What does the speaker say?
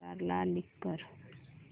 आधार ला लिंक कर